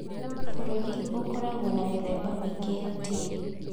Bũrũri - ũkoragwo na mĩthemba mĩingĩ ya tĩĩri